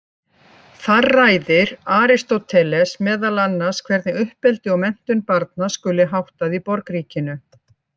Þar ræðir Aristóteles meðal annars hvernig uppeldi og menntun barna skuli háttað í borgríkinu.